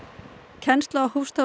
kennsla hófst á